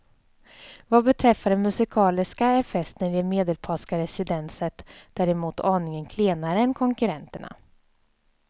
Vad beträffar det musikaliska är festen i det medelpadska residensent däremot aningen klenare än konkurrenterna.